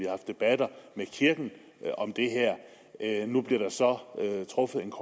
haft debatter med kirken om det nu bliver der så truffet en